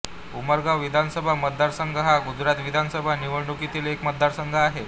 उमरगाव विधानसभा मतदारसंघ हा गुजरात विधानसभा निवडणुकीतील एक मतदारसंघ आहे